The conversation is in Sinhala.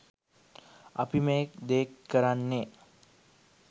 අපි මේ දේ කරන්නේ